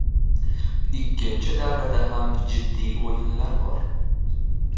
Ikkinchi davrada ham jiddiy o‘yinlar bor.